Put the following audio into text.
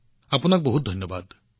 আপোনাক বহুত ধন্যবাদ ভাই